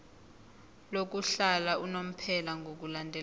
lokuhlala unomphela ngokulandela